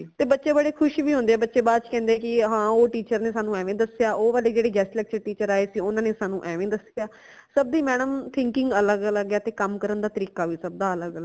ਤੇ ਬੜੇ ਖੁਸ਼ ਵੀ ਹੋਂਦੇ ਹੈ ਬੱਚੇ ਬਾਅਦ ਚ ਕਹਿੰਦੇ ਕਿ ਹਾਂ ਓ teacher ਨੇ ਸਾਨੂੰ ਐਵੇ ਦਸਿਆ ਓ ਵਾਲੇ ਜੇੜੇ guest lecture teacher ਆਏ ਸੀ ਓਨਾ ਨੇ ਸਾਨੂੰ ਐਵੇਂ ਦਸਿਆ ਸਬ ਦੀ madam thinking ਅਲੱਗ ਅਲੱਗ ਹੈ ਤੇ ਕਮ ਕਰਨ ਦਾ ਤਰੀਕਾ ਵੀ ਸਬ ਦਾ ਅਲੱਗ ਅਲੱਗ ਹੈ।